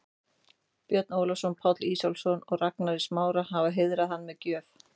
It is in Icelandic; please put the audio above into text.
Björn Ólafsson, Páll Ísólfsson og Ragnar í Smára, hafa heiðrað hann með gjöf.